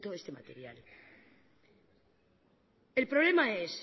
este material el problema es